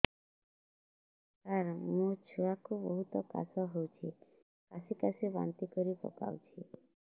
ସାର ମୋ ଛୁଆ କୁ ବହୁତ କାଶ ହଉଛି କାସି କାସି ବାନ୍ତି କରି ପକାଉଛି